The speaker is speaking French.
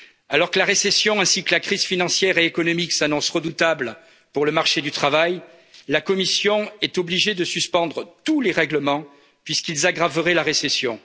Alors que la récession ainsi que la crise financière et économique s'annoncent redoutables pour le marché du travail, la Commission est obligée de suspendre tous les règlements puisqu'ils aggraveraient la récession.